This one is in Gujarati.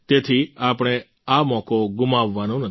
તેથી આપણે આ મોકો ગુમાવવાનો નથી